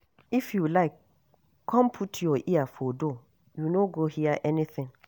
If you like come put your ear for door, you no go hear anything